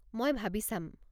মই ভাবি চাম।